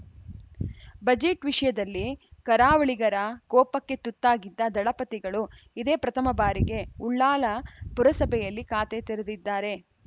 budget ವಿಷಯದಲ್ಲಿ ಕರಾವಳಿಗರ ಕೋಪಕ್ಕೆ ತುತ್ತಾಗಿದ್ದ ದಳಪತಿಗಳು ಇದೇ ಪ್ರಥಮ ಬಾರಿಗೆ ಉಳ್ಳಾಲ ಪುರಸಭೆಯಲ್ಲಿ ಖಾತೆ ತೆರೆದಿದ್ದಾರೆ